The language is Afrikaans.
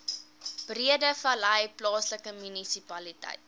breedevallei plaaslike munisipaliteit